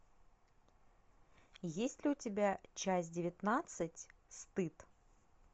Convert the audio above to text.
есть ли у тебя часть девятнадцать стыд